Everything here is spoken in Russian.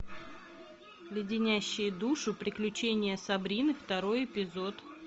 леденящие душу приключения сабрины второй эпизод